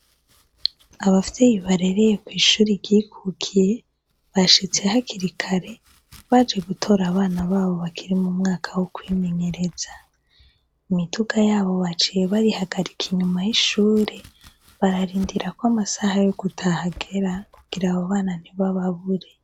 Abavyeyi barereye kw'ishure ryikukiye bashitse hakiri kare baje gutora abana babo bari mu mwaka wo kwimenyereza, imiduga yabo baciye bayigarika inyuma y'ishure, barindira kw'amasaha yo gutaha agera kugira abo bana ntibababure.